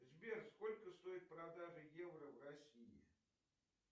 сбер сколько стоит продажа евро в россии